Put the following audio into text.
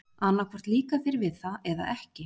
Annað hvort líkar þér við það eða ekki.